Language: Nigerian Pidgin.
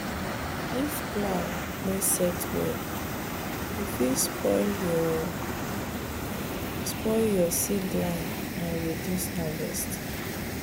if plow no set well e fit spoil your spoil your seed line and reduce harvest.